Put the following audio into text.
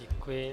Děkuji.